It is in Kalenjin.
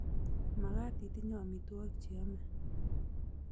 Makaat itenyei amitwokik che yamei